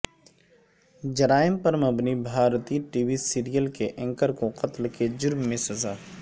جرائم پر مبنی بھارتی ٹی وی سیریل کے اینکر کو قتل کے جرم میں سزا